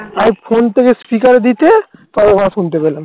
আমি phone থেকে speaker দিতে তবে শুনতে পেলাম